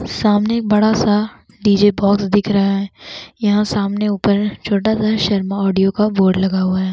सामने एक बड़ा सा डीजे बॉक्स दिख रहा है यहाँ सामने ऊपर छोटा सा शर्मा ऑडियो का बोर्ड लगा हुआ है।